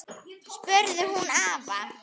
spurði hún afa.